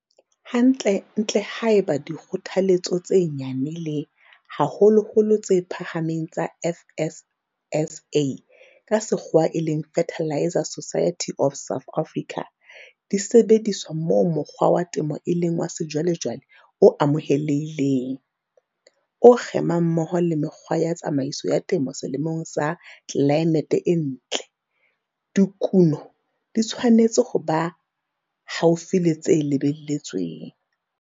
Hantlentle haeba dikgothaletso tse nyane le, haholoholo, tse phahameng tsa FSSA, Fertiliser Society of South Africa, di sebediswa moo mokgwa wa temo e leng wa sejwalejwale o amohelehileng, o kgemang mmoho le mekgwa ya tsamaiso ya temo selemong sa tlelaemete e ntle, dikuno di tshwanetse ho ba haufi le tse lebelletsweng.